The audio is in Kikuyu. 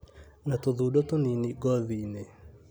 na tũthundo tũnini ngothi-inĩ.